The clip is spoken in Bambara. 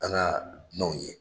An na dunanw ye.